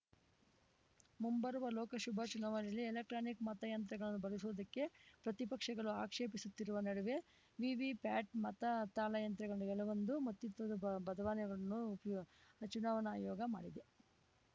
ಮುಂಬರುವ ಲೋಕಸಭಾ ಚುನಾವಣೆಯಲ್ಲಿ ಎಲೆಕ್ಟ್ರಾನಿಕ್‌ ಮತಯಂತ್ರಗಳನ್ನು ಬಳಸುವುದಕ್ಕೆ ಪ್ರತಿಪಕ್ಷಗಳು ಆಕ್ಷೇಪಿಸುತ್ತರುವ ನಡುವೆ ವಿವಿಪ್ಯಾಟ್‌ ಮತ ತಾಳೆಯಂತ್ರಗಳಲ್ಲಿ ಕೆಲವೊಂದು ಮತ್ತಿತ್ವದ ಬದಲಾವಣೆಗಳನ್ನು ಉಪ್ ಚುನಾವಣಾ ಆಯೋಗ ಮಾಡಿದೆ